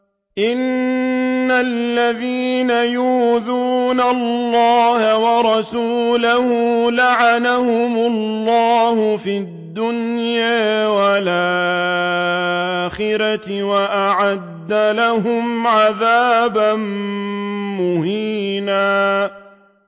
إِنَّ الَّذِينَ يُؤْذُونَ اللَّهَ وَرَسُولَهُ لَعَنَهُمُ اللَّهُ فِي الدُّنْيَا وَالْآخِرَةِ وَأَعَدَّ لَهُمْ عَذَابًا مُّهِينًا